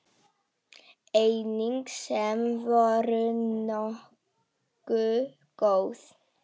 Engin sem voru nógu góð.